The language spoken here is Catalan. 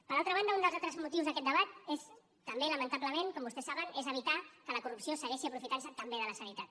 per altra banda un dels altres motius d’aquest debat també lamentablement com vostès saben és evitar que la corrupció segueixi aprofitant se també de la sanitat